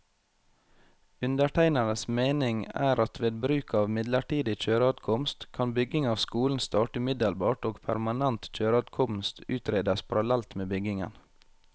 Undertegnedes mening er at ved bruk av midlertidig kjøreadkomst, kan bygging av skolen starte umiddelbart og permanent kjøreadkomst utredes parallelt med byggingen.